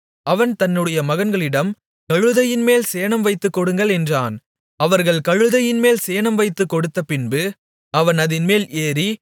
அவன் தன்னுடைய மகன்களிடம் கழுதையின்மேல் சேணம் வைத்துக் கொடுங்கள் என்றான் அவர்கள் கழுதையின்மேல் சேணம் வைத்துக் கொடுத்தபின்பு அவன் அதின்மேல் ஏறி